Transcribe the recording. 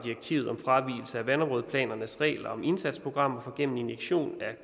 fravigelse af vandområdeplanernes regel om indsatsprogrammer for gennem injektion af